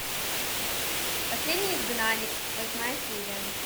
последний изгнанник восьмая серия